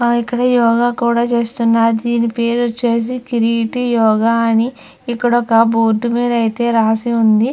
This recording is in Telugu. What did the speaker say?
ఇక్కడ యోగ కూడా చేస్తున్నారు దీని పేరు వచ్చేసి కిరీటి యోగ అని ఇక్కడ ఒక బోర్డు మీద ఐతే రాసి ఉంది .